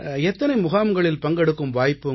எத்தனை முகாம்களில் பங்கெடுக்கும் வாய்ப்பு